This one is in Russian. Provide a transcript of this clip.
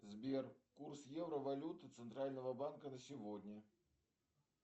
сбер курс евро валюты центрального банка на сегодня